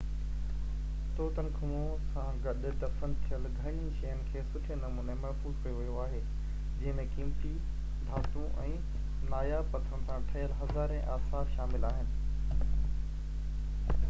Tutankhamun سان گڏ دفن ٿيل گهڻين شين کي سٺي نموني محفوظ ڪيو ويو آهي جنهن ۾ قيمتي ڌاتون ۽ ناياب پٿرن سان ٺهيل هزارين آثار شامل آهن